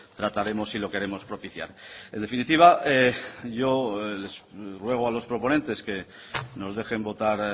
trataremos y lo queremos propiciar en definitiva yo les ruego a los proponentes que nos dejen votar